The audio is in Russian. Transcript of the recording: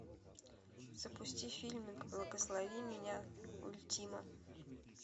запусти фильмик благослови меня ультима